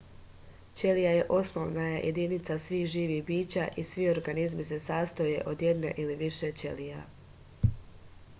ćelija je osnovna jedinica svih živih bića i svi organizmi se sastoje od jedne ili više ćelija